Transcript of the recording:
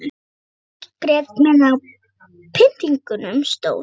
Mikið sem ég grét meðan á pyntingunum stóð.